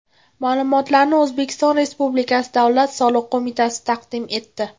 Ma’lumotlarni O‘zbekiston Respublikasi Davlat soliq qo‘mitasi taqdim etdi.